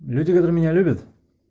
люди которые меня любят